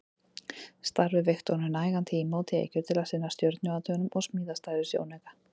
Starfið veitti honum nægan tíma og tekjur til að sinna stjörnuathugunum og smíða stærri sjónauka.